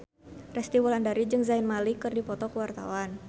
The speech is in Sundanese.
Resty Wulandari jeung Zayn Malik keur dipoto ku wartawan